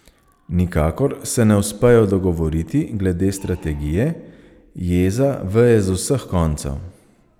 Nikakor se ne uspejo dogovoriti glede strategije, jeza veje z vseh koncev.